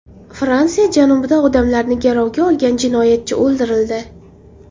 Fransiya janubida odamlarni garovga olgan jinoyatchi o‘ldirildi.